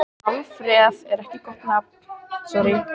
Sjálfstraustið geislar af Alfreð og skoraði hann með vippu í mitt markið.